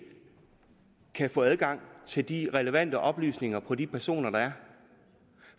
kan få adgang til de relevante oplysninger på de personer der er